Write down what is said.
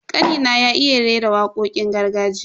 Kanina ya iya rera wakokin gargajiya.